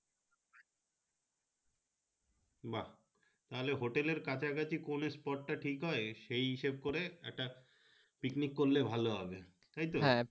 বা hotel কাছাকাছি পড়লে Spot টা টিক হয় সেই হিসেবে করে একটা picnic করলে ভালো হবে তাই তো ।